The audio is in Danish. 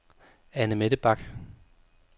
Annemette Bach